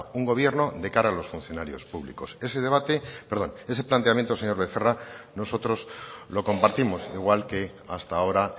un gobierno de cara a los funcionarios públicos ese planteamiento señor becerra nosotros lo compartimos igual que hasta ahora